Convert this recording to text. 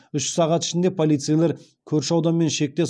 үш сағат ішінде полицейлер көрші ауданмен шектес